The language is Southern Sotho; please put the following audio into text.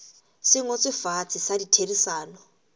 se ngotsweng fatshe sa ditherisano